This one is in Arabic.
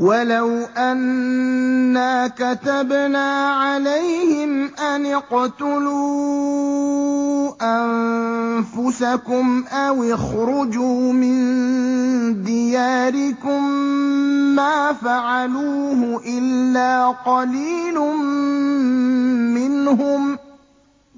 وَلَوْ أَنَّا كَتَبْنَا عَلَيْهِمْ أَنِ اقْتُلُوا أَنفُسَكُمْ أَوِ اخْرُجُوا مِن دِيَارِكُم مَّا فَعَلُوهُ إِلَّا قَلِيلٌ مِّنْهُمْ ۖ